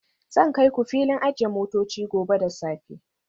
Zan kai ku filin ajiye motoci gobe da safe